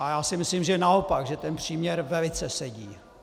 A já si myslím, že naopak, že ten příměr velice sedí.